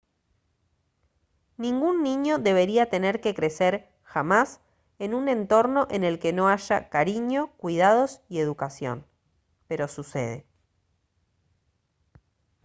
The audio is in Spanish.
ningún niño debería tener que crecer jamás en un entorno en el que no haya cariño cuidados y educación pero sucede